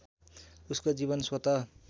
उसको जीवन स्वत